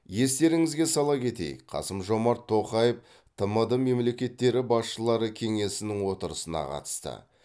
естеріңізге сала кетейік қасым жомарт тоқаев тмд мемлекеттері басшылары кеңесінің отырысына қатысты